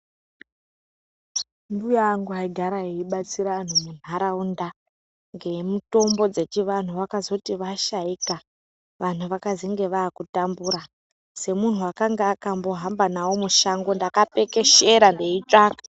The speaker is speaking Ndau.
Mbuya angu aigara eibatsira vantu mundaraunda ngemutombo dzechivantu vakazoti vashaika vanhu vakazenge vakutambura semunhu akakange akambohamba nawo mushango ndakapekeshera ndeitsvaka.